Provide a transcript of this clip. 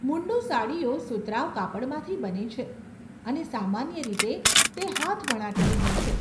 મુન્ડું સાડીઓ સુતરાઉ કાપડમાંથી બને છે અને સામાન્ય રીતે તે હાથવણાટની હોય છે.